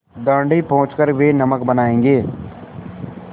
दाँडी पहुँच कर वे नमक बनायेंगे